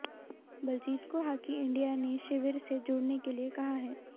बलजीत को hockey India ने शिविर से जुड़ने के लिए कहा है